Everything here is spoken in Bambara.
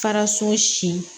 Faraso si